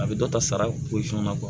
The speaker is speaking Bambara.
A bɛ dɔ ta sara